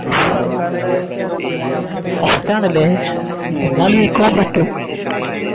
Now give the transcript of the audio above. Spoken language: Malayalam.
First ആണ് ലെ എന്നാൽ ബീകോം പറ്റും